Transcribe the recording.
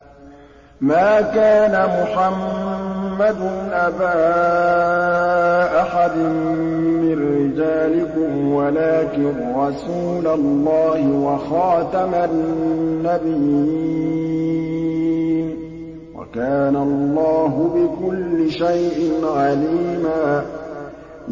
مَّا كَانَ مُحَمَّدٌ أَبَا أَحَدٍ مِّن رِّجَالِكُمْ وَلَٰكِن رَّسُولَ اللَّهِ وَخَاتَمَ النَّبِيِّينَ ۗ وَكَانَ اللَّهُ بِكُلِّ شَيْءٍ عَلِيمًا